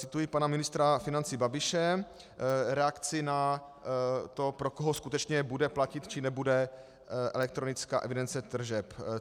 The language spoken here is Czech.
Cituji pana ministra financí Babiše, reakci na to, pro koho skutečně bude platit, či nebude elektronická evidence tržeb.